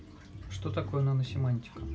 что такое наносемантика